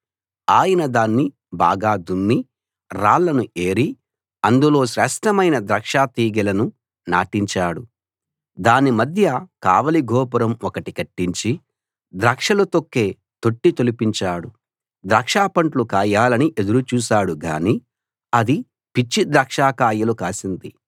ఆయన దాన్ని బాగా దున్ని రాళ్లను ఏరి అందులో శేష్ఠమైన ద్రాక్షతీగెలను నాటించాడు దాని మధ్య కావలి గోపురం ఒకటి కట్టించి ద్రాక్షలు తొక్కే తొట్టి తొలిపించాడు ద్రాక్షపండ్లు కాయాలని ఎదురు చూశాడు గానీ అది పిచ్చి ద్రాక్షకాయలు కాసింది